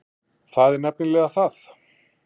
Það er nefnilega það.